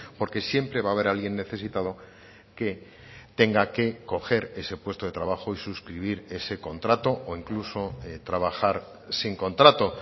porque siempre va a haber alguien necesitado que tenga que coger ese puesto de trabajo y suscribir ese contrato o incluso trabajar sin contrato